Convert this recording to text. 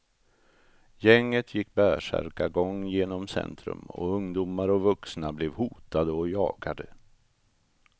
Gänget gick bärsärkargång genom centrum och ungdomar och vuxna blev hotade och jagade.